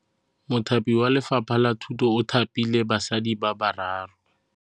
Mothapi wa Lefapha la Thutô o thapile basadi ba ba raro.